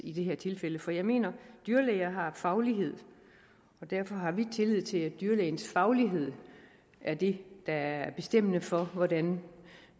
i det her tilfælde for jeg mener at dyrlæger har faglighed og derfor har vi tillid til at dyrlægens faglighed er det der er bestemmende for hvordan